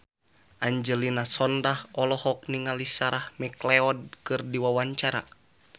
Angelina Sondakh olohok ningali Sarah McLeod keur diwawancara